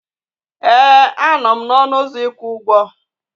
Ee, a nọ m n'ọnụ ụzọ ịkwụ ụgwọ.